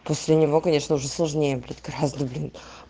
после него конечно уже сложнее будет красный блин